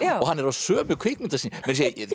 og hann er á sömu kvikmyndasýningum